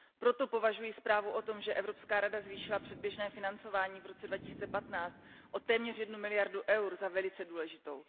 Proto považuji zprávu o tom, že Evropská rada zvýšila předběžné financování v roce 2015 o téměř jednu miliardu EUR za velice důležitou.